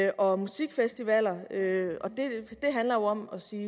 og musikfestivaler det handler jo om at sige